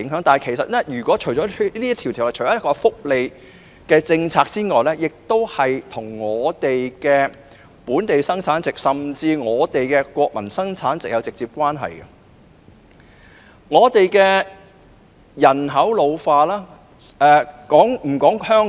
《條例草案》除了涉及福利政策外，亦與香港本地生產總值，甚至國民生產總值直接相關，因此必須正視人口老化的問題。